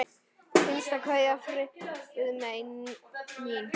HINSTA KVEÐJA Friðmey mín.